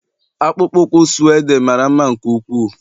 akpụkpọ ụkwụ suede mara mma nke ukwuu